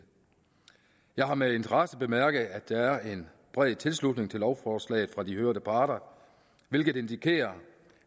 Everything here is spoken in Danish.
jeg har med interesse bemærket at der er en bred tilslutning til lovforslaget fra de hørte parter hvilket indikerer